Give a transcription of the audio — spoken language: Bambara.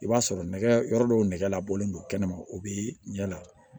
I b'a sɔrɔ nɛgɛ yɔrɔ dɔw nɛgɛ la bɔlen don kɛnɛ ma o bɛ ɲɛ la